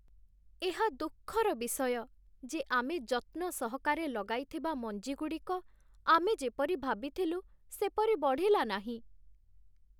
ଏହା ଦୁଃଖର ବିଷୟ ଯେ ଆମେ ଯତ୍ନ ସହକାରେ ଲଗାଇଥିବା ମଞ୍ଜିଗୁଡ଼ିକ ଆମେ ଯେପରି ଭାବିଥିଲୁ ସେପରି ବଢ଼ିଲା ନାହିଁ।